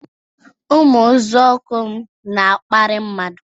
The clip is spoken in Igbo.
Ụmụ nzọụkwụ m na-akparị mmadụ